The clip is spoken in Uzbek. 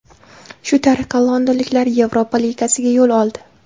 Shu tariqa londonliklar Yevropa Ligasiga yo‘l oldi.